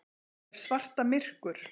Er svarta myrkur?